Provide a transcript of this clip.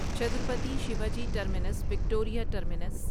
Chhatrapati Shivaji Terminus Victoria terminus